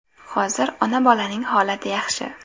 Hozir ona-bolaning holati yaxshi.